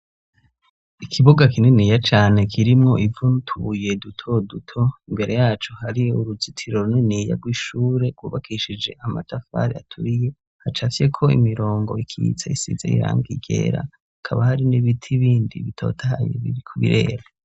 Ikibuga kininiya cane kirimwo ivu n'utubuye duto duto ,imbere yaco hari uruzitiro runiniya rw'ishure gwubakishije amatafari atuiye, hacapfye ko imirongo ikitse isize irangi ryera, hakaba hari n'ibiti bindi bitotahaye biri kurera.